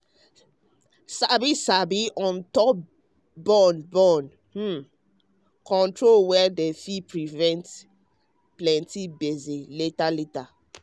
sabi sabi on top born born hmm control way dem fit prevent plenty gbege later later.